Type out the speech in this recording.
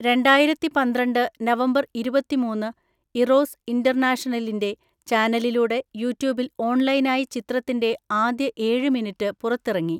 രണ്ടായിരത്തിപന്ത്രണ്ട് November ഇരുപത്തിമൂന്ന് Eros ഇന്റർനാഷണലിന്റെ ചാനലിലൂടെ യൂട്യൂബിൽ ഓൺലൈനായി ചിത്രത്തിന്റെ ആദ്യ ഏഴ് മിനിറ്റ് പുറത്തിറങ്ങി.